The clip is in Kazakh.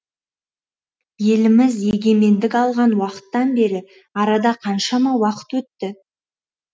еліміз егемендік алған уақыттан бері арада қаншама уақыт өтті